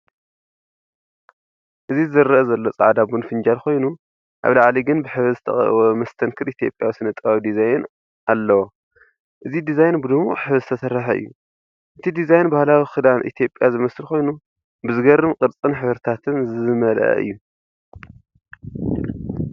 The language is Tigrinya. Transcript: እዚ ዝረአ ዘሎ ጻዕዳ ቡን ፍንጃል ኮይኑ፡ ኣብ ላዕሊ ግን ብሕብሪ ዝተቐብአ መስተንክር ኢትዮጵያዊ ስነ-ጥበባዊ ዲዛይን ኣለዎ። እዚ ዲዛይን ብድሙቕ ሕብሪ ዝተሰርሐ እዩ፤ እቲ ዲዛይን ባህላዊ ክዳን ኢትዮጵያ ዝመስል ኮይኑ፡ ብዘገርም ቅርጽን ሕብርታትን ዝመልአ እዩ።